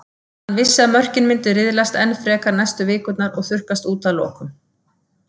Hann vissi að mörkin myndu riðlast enn frekar næstu vikurnar og þurrkast út að lokum.